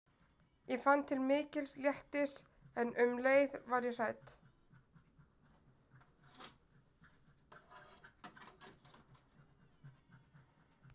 Ég fann til mikils léttis en um leið var ég hrædd.